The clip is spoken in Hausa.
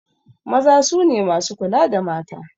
Maza su ne masu kula da mata.